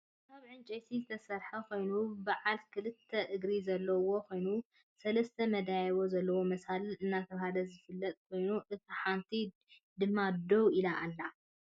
ካብ ዕንጨይቲ ዝተሰረሐ ኮይኑ ብዓል ክልዕተ እግሪ ዘለዎ ኮይኑ ሰለስተ መደያየቢ ዘለዎ መሳልል እናተባህለ ዝፍለጥ ኮይኑ እታ ሓንቲ ድማ ደው ኢላ ኣላ።